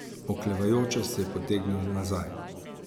Oklevajoče se je potegnil nazaj.